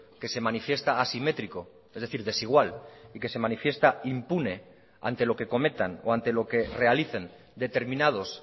que se manifiesta asimétrico es decir desigual y que se manifiesta impune ante lo que cometan o ante lo que realicen determinados